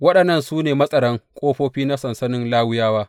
Waɗannan su ne matsaran ƙofofi na sansanin Lawiyawa.